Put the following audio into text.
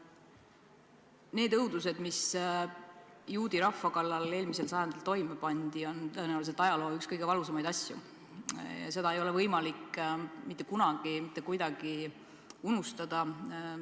Need õudused, mis juudi rahva kallal eelmisel sajandil toime pandi, on tõenäoliselt üks ajaloo kõige valusamaid asju ja seda ei ole võimalik mitte kunagi mitte kuidagi unustada.